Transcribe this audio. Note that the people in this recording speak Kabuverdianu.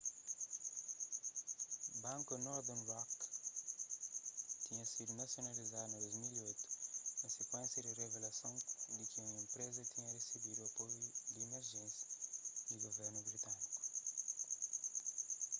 banku northern rock tinha sidu nasionalizadu na 2008 na sikuénsia di revelason di ki enpreza tinha resebidu apoiu di emerjénsia di guvernu britâniku